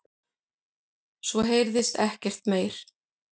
Svo heyrðist ekkert meir.